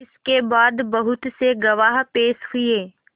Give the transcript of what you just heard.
इसके बाद बहुत से गवाह पेश हुए